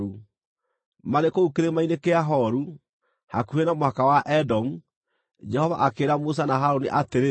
Marĩ kũu Kĩrĩma-inĩ kĩa Horu, hakuhĩ na mũhaka wa Edomu, Jehova akĩĩra Musa na Harũni atĩrĩ,